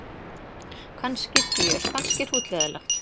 Kannski fjör kannski hrútleiðinlegt.